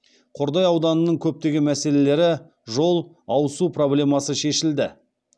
қордай ауданының көптеген мәселелері жол ауызсу проблемасы шешілді